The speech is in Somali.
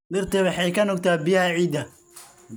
Dhirtu waxay ka nuugtaa biyaha ciidda.